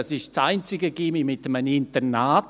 Es ist das einzige Gymnasium mit einem Internat;